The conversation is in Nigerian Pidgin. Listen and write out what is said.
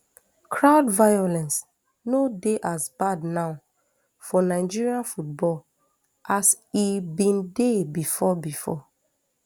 crowd violence no dey as bad now for nigeria football as e bin dey bifor bifor